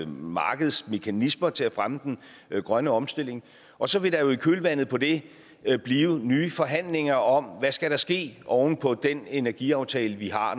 markedsmekanismer til at fremme den grønne omstilling og så vil der jo i kølvandet på det blive nye forhandlinger om hvad der skal ske oven på den energiaftale vi har